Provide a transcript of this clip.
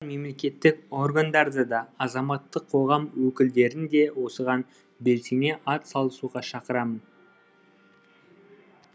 мемлекеттік органдарды да азаматтық қоғам өкілдерін де осыған белсене атсалысуға шақырамын